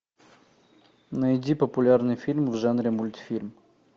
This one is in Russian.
найди популярный фильм в жанре мультфильм